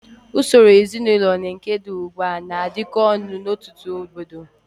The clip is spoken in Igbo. Usoro ezinaụlọ na nke dị ugbu a na-adịkọ ọnụ n'ọtụtụ obodo.